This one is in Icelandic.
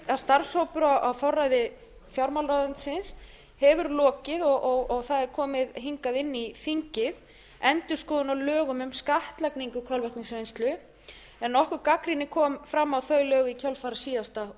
að starfshópur á forræði fjármálaráðuneytisins hefur lokið og það er komið hingað inn í þingið endurskoðun á lögum um skattlagningu kolvetnisvinnslu en nokkur gagnrýni kom fram á þau lög í kjölfar síðasta